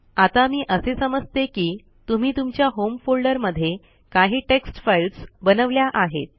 आता मी असे समजते की तुम्ही तुमच्या होम फोल्डरमध्ये काही टेक्स्ट फाईल्स बनवल्या आहेत